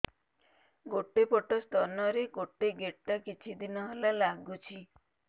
ଗୋଟେ ପଟ ସ୍ତନ ରେ ଗୋଟେ ଗେଟା କିଛି ଦିନ ହେଲା ଲାଗୁଛି